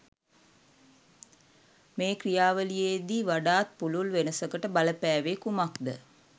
මේ ක්‍රියාවලියේදී වඩාත් පුළුල් වෙනසකට බලපෑවේ කුමක් ද